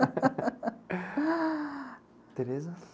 Teresa?